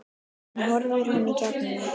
En hún horfir í gegnum mig